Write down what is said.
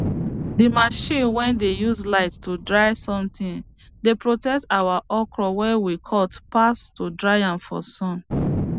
the machine way dey use light to dry something dey protect our okro way we cut pass to dry am for sun